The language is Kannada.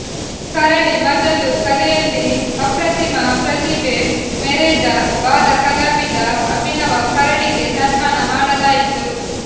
ಕರಡಿ ಮಜಲು ಕಲೆಯಲ್ಲಿ ಅಪ್ರತಿಮ ಪ್ರತಿಭೆ ಮೆರೆದ ಬಾಲ ಕಲಾವಿದ ಅಭಿನವ ಕರಡಿಗೆ ಸನ್ಮಾನ ಮಾಡಲಾಯಿತು